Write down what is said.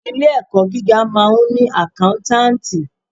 Ilé ẹ̀kọ́ gíga máa ń ni àkántàntì.